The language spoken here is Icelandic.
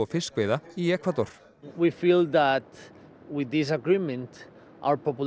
fiskveiða í Ekvador